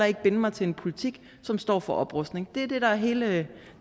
ikke binde mig til en politik som står for oprustning det er det der er hele